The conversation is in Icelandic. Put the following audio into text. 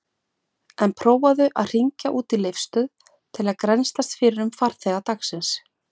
En prófaðu að hringja út í Leifsstöð til að grennslast fyrir um farþega dagsins.